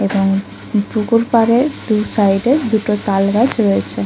এবং পুকুর পাড়ে দু সাইড -এ দুটো তালগাছ রয়েছে ।